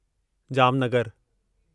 जामनगरु